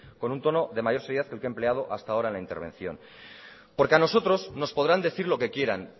con un tono de mayor seriedad que el que he empleado hasta ahora en la intervención porque a nosotros nos podrán decir lo que quieran